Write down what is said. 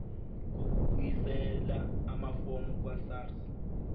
kokubuyisela amafomu kwasars